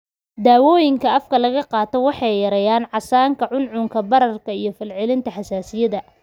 Dawooyinkan afka laga qaato waxay yareeyaan casaanka, cuncunka, bararka iyo falcelinta xasaasiyadda.